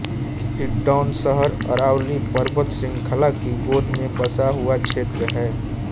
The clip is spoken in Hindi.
हिण्डौन शहर अरावली पर्वत श़ृंखला की गोद में बसा हुआ क्षेत्र है